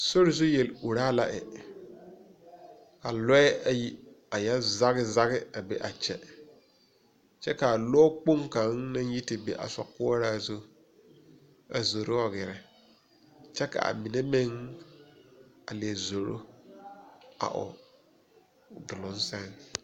Sori zu yel uraa la e. A lɔe ayi a yoɔ zage zage a be a kyɛ. Kyɛ ka a lɔ kpong kang naŋ yi te be a sokuoraa zu a zoro wa gɛrɛ. Kyɛ ka a mene meŋ a lie zoro a o duroŋ sɛŋ